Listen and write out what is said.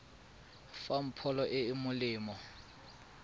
fang pholo e e molemo